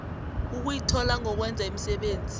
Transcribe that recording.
ukuyithola ngokwenza imisebenzi